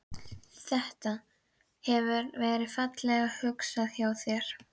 Þetta. hefur verið fallega hugsað hjá þér sagði